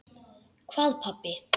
Hvað pabbi?